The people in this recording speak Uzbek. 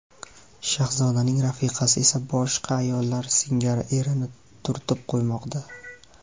Shahzodaning rafiqasi esa boshqa ayollar singari erini turtib qo‘ymoqda.